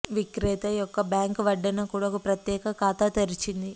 విక్రేత యొక్క బ్యాంకు వడ్డన కూడా ఒక ప్రత్యేక ఖాతా తెరిచింది